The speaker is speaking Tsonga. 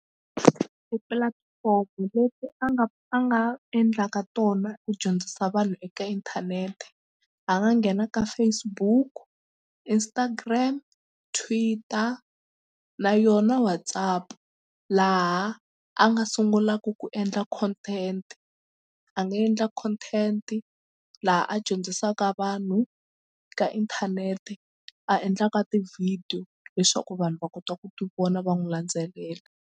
Ti-platform leti a nga a nga endlaka tona ku dyondzisa vanhu eka inthanete a nga nghena ka Facebook, Instagram, Twitter na yona WhatsApp laha a nga sungulaka ku endla content a nga endla content laha a dyondzisaka vanhu ka inthanete a endlaka tivhidiyo leswaku vanhu va kota ku tivona va n'wi landzelela.